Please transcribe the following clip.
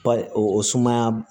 Pa o sumaya